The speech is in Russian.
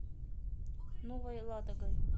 новой ладогой